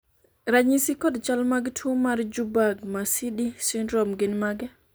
ranyisi kod chal mag tuo mar Juberg Marsidi syndrome gin mage?